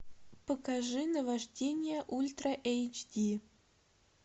покажи наваждение ультра эйч ди